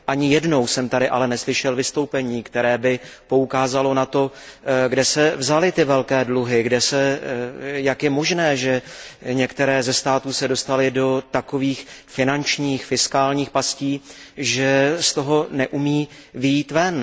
Ani jednou jsem tady ale neslyšel vystoupení, které by poukázalo na to, kde se vzaly ty velké dluhy, jak je možné, že některé ze států se dostaly do takových finančních potíží, že z toho neumí vyjít ven.